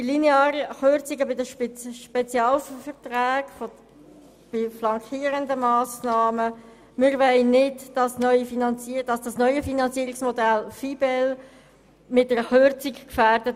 Zu den linearen Kürzungen bei den Spezialverträgen bei flankierenden Massnahmen: Wir wollen das neue Finanzierungsmodell Verfahren zur individuellen Bedarfsabklärung und Leistungsbemessung (VIBEL) nicht mit einer Kürzung gefährden.